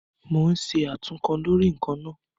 Mo ń ṣe àtúnkọ lórí ǹkan náà